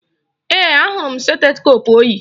Ee, ahụrụ m stetoskoopu o yi